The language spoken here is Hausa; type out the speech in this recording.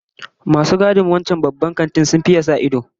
Masu gadin wancan Babban Kantin sun faye tsananin sa ido